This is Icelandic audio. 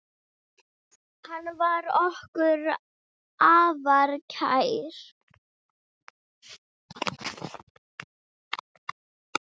Hann var okkur afar kær.